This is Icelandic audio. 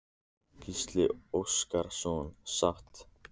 Gísli Óskarsson: Sátt?